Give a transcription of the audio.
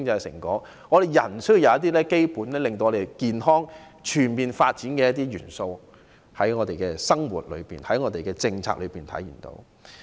社會需有能讓人健康地全面發展的基本元素，但在我們的生活和政策內卻看不到這些元素。